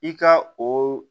I ka o